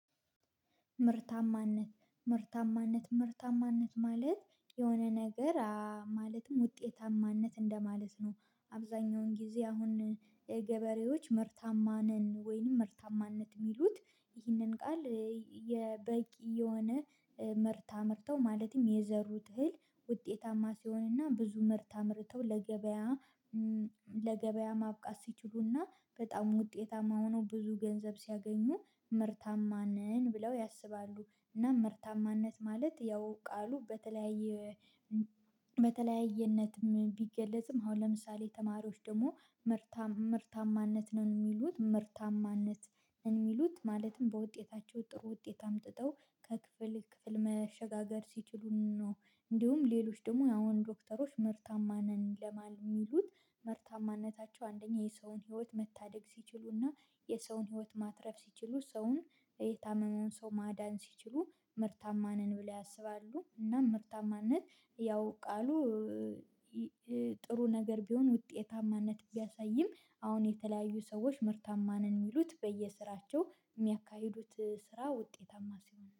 ምርታማነት ምርታማነት ምርታማነት ማለት የሆነ ነገር ማለትም ውጤታማነት እንደማለት ነው አብዛኛውን ጊዜ አሁን የገበሬዎች ምርታማ ነን ወይንም ምርታማነት የሚሉት ይህንን ቃል የበቂ የሆነ ምርት አምርተው ማለትም የዘሩት እህል ውጤታማ ሲሆንና ብዙ ምርት አምርተው ለገበያ ለገበያ ማብቃት ሲችሉ እና በጣም ውጤታማ ሆነው ብዙ ገንዘብ ሲያገኙ ምርታማ ነን ብለው ያስባሉ እና ምርታማነት ማለት ያው ቃሉ በተለያየ በተለያየ በተለያየነትም ቢገለጽም አሁን ለምሳሌ ተማሪዎች ደግሞ ምርታማነት ነን የሚሉት ምርታማነት እንዲሉት ማለትም በውጤታቸው ጥሩ ውጤት አምጥተው ከክፍል ክፍል መሸጋገር ሲችሉ ነው እንዲሁም ሌሎች ደግሞ ያው ዶክተሮች ምርታማ ነን ለማለት የሚሉት ምርታማነታቸው አንደኛ የሰውን ህይወት መታደግ ሲችሉና የሰውን ህይወት ማትረፍ ሲችሉ ሰውን የታመመውን ሰው ማዳን ሲችሉ ምርታማ ነን ብለው ያስባሉ እና ምርታማነት ያው ቃሉ ጥሩ ነገር ቢሆን ውጤታማነት ቢያሳይም አሁን የተለያዩ ሰዎች ምርታማ ነን የሚሉት በየስራቸው የሚያካሂዱት ስራ ውጤታማ ሲሆን ነው።